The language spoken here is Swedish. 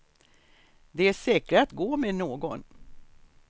Det är säkrare att gå med någon.